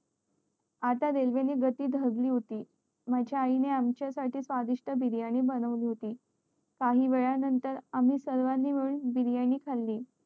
आता रेल्वे ने गती धरली होती माझ्या आई ने आमच्या साठी स्वादिष्ट biryani बनवली होती काही वेळा नंतर आम्ही सर्वंनी मिळून biryani खाली